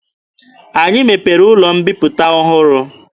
Anyị mepere ụlọ mbiputa ọhụrụ.